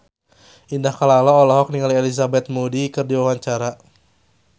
Indah Kalalo olohok ningali Elizabeth Moody keur diwawancara